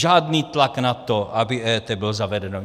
Žádný tlak na to, aby EET bylo zavedeno.